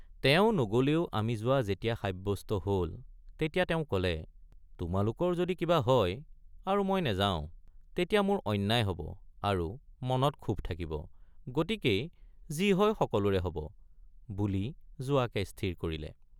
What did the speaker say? তেওঁ নগলেও আমি যোৱা যেতিয়া সাব্যস্ত হল তেতিয়া তেওঁ কলে তোমালোকৰ যদি কিবা হয় আৰু মই নাযাওঁ তেতিয়া মোৰ অন্যায় হব আৰু মনত ক্ষোভ থাকিব গতিকেই যি হয় সকলোৰে হব বুলি যোৱাকে স্থিৰ কৰিলে।